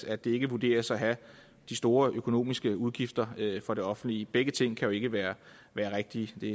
at det ikke vurderes at have de store økonomiske udgifter for det offentlige begge ting kan jo ikke være rigtige det